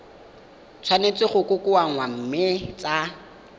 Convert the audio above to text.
tshwanetse go kokoanngwa mme tsa